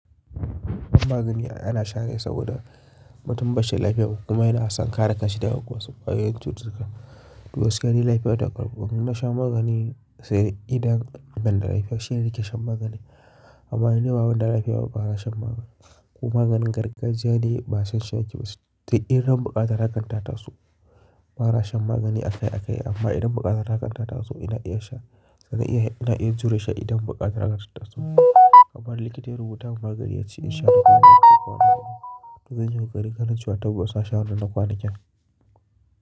Wasu magani ana sha ne saboda Mutum ba shi da lafiya kuma yana son kare kanshi daga wasu kwayoyin cututtuka. Duk wasu yanayi lafiya ta ƙwarbo na shan magani sai idan ganda laifashin yake shan magani. Amma yanayi wawan da lafiya babu ana shan magani. Kuma maganin gargajiya ne ba sassan ciki ba su, idan buƙatar hakan ta tasu ba na shan magani akai-akai amma idan buƙatar hakan ta tasu ina iya sha. Zan iya, ina iya jure sha idan buƙatar hakan ta tasu. Amma likita ya rubuta magani ya ce in sha da kwana uku kwana biyu, zan yi kokari karin cewa taɓa sha awanni na kwanaki.